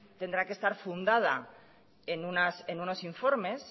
tendrá que estar fundada en unos informes